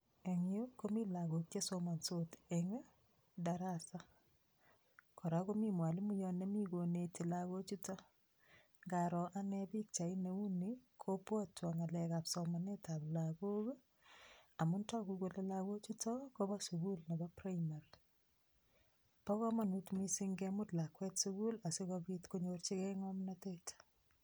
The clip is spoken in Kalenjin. Eng yu komi lagok che somansot eng darasa, kora komi mwalimoiyot nemi koneti lagochuto, ngaro ane pikchait neu ni, kobwatwo ngalekab somanetab lagok ii, amu toku kole lagochuto kobo sukul nebo primary. Bo kamanut mising kemut lakwet sukuli asikobit konyorchikei ngamnotet.